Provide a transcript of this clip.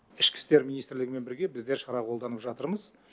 ішкі істер министрлігімен бірге біздер шара қолданып жатырмыз